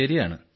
ശരിയാണ്